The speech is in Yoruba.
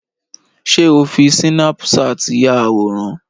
Ṣé o fi sínápúṣàt yà àwòrán?